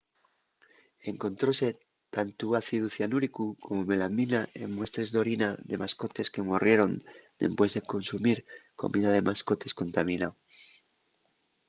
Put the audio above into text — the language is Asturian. encontróse tantu ácidu cianúrico como melamina en muestres d’orina de mascotes que morrieron dempués de consumir comida de mascotes contaminao